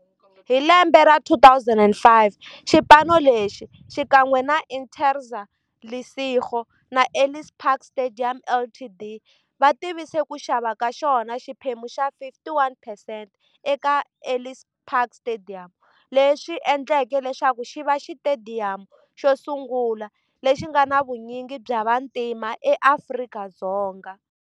Hi lembe ra 2005, xipano lexi, xikan'we na Interza Lesego na Ellis Park Stadium Ltd, va tivise ku xava ka xona xiphemu xa 51 percent eka Ellis Park Stadium, leswi endleke leswaku xiva xitediyamu xosungula lexi nga na vunyingi bya vantima eAfrika-Dzonga.